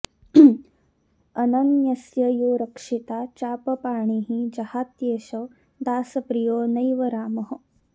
अनन्यस्य यो रक्षिता चापपाणिः जहात्येष दासप्रियो नैव रामः